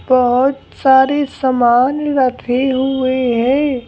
बहुत सारे सामान रखे हुए हैं।